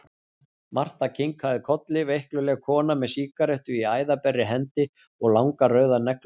Marta kinkaði kolli, veikluleg kona með sígarettu í æðaberri hendi og langar, rauðar neglur.